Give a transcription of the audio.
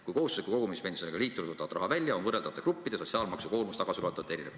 Kui kohustusliku kogumispensioniga liitunud võtavad raha välja, on võrreldavate gruppide sotsiaalmaksukoormus tagasiulatuvalt erinev.